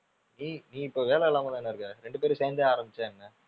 ஏய் நீ இப்போ வேலை இல்லாம தானே இருக்க. ரெண்டு பேரும் சேந்தே ஆரமிச்சா என்ன?